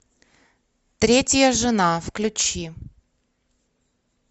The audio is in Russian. третья жена включи